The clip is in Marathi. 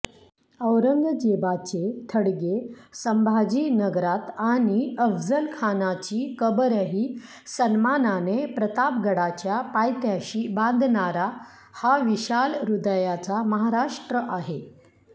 औरंगजेबाचे थडगे संभाजीनगरात आणि अफझलखानाची कबरही सन्मानाने प्रतापगडाच्या पायथ्याशी बांधणारा हा विशाल हृदयाचा महाराष्ट्र आहे